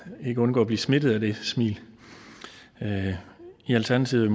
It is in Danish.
ikke undgå at blive smittet af det smil i alternativet